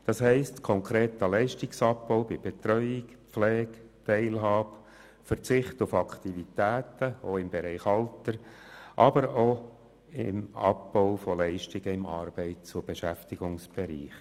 Das bedeutet konkreter Leistungsabbau bei Betreuung, Pflege, Teilhabe, beim Verzicht auf Aktivitäten, dies auch im Bereich Alter, aber auch Abbau von Leistungen im Arbeits- und Beschäftigungsbereich.